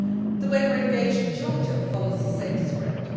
health. The way we are engaged in Georgia follows the same